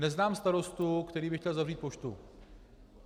Neznám starostu, který by chtěl zavřít poštu.